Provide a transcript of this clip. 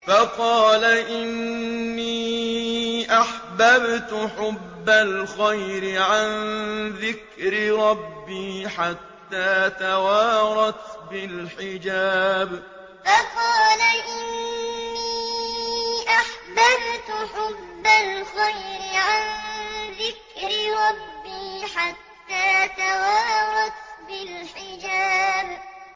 فَقَالَ إِنِّي أَحْبَبْتُ حُبَّ الْخَيْرِ عَن ذِكْرِ رَبِّي حَتَّىٰ تَوَارَتْ بِالْحِجَابِ فَقَالَ إِنِّي أَحْبَبْتُ حُبَّ الْخَيْرِ عَن ذِكْرِ رَبِّي حَتَّىٰ تَوَارَتْ بِالْحِجَابِ